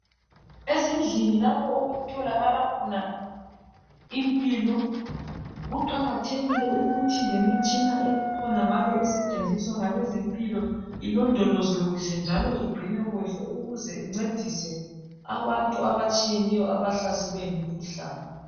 Ezindlini lapho okutholakala impilo kuqakathekili ukuthi lemitshina ekhonangale esetshenziswa ngabezempilo ilondolozwe kuhle njalo igcinwe ukuze incedise abantu abatshiyeneyo abahlaselelwe ngumkhuhlane.